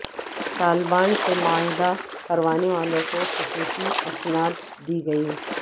طالبان سے معاہدہ کروانے والوں کو خصوصی اسناد دی گئیں